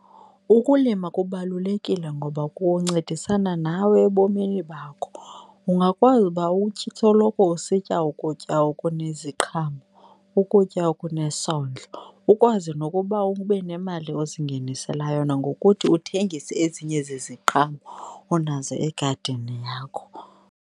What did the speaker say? Ukulima kubalulekile ngoba kuncedisana nawe ebomini bakho. Ungakwazi uba usoloko usitya ukutya okuneziqhamo, ukutya okunesondlo, ukwazi nokuba ube nemali ozingenisela yona ngokuthi uthengise ezinye zeziqhamo onazo egadini yakho.